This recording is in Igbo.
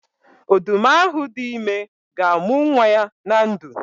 Odu m ahu di ime ga-amu nwa ya na ndu.